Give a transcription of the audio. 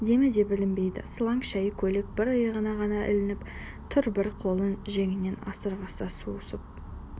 демі де білінбейді сылаң шәйі көйлек бір иығына ғана ілініп тұр бір қолын жеңінен шығарса сусып